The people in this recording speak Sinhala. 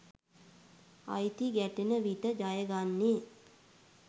අයිති ගැටෙන විට ජයගන්නේ